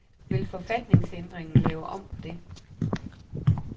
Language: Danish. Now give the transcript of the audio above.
Vil forfatningsændringen lave om på det?